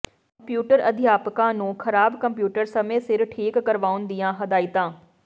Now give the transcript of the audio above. computer ਅਧਿਆਪਕਾਂ ਨੂੰ ਖਰਾਬ ਕੰਪਿਊਟਰ ਸਮੇਂ ਸਿਰ ਠੀਕ ਕਰਾਉਣ ਦੀਆਂ ਹਦਾਇਤਾਂ